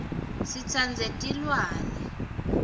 sitsandze tilwane